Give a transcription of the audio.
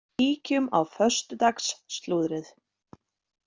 Kíkjum á föstudags slúðrið!